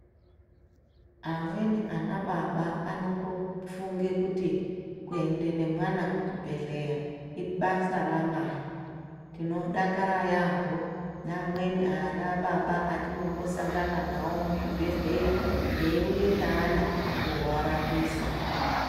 Amweni ana baba anongofunge kuti kuende nemwana kuchibhedhleya ibasa ra amai tinodakara yaambo neamweni ana baba atinombosangana nawo muzvibhedhleya eyi uye neana kowarapisa.